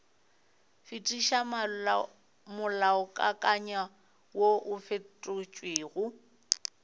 fetiša molaokakanywa woo o fetotšwego